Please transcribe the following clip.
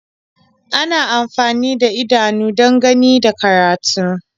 Ana amfani da idanu don gani da karatu.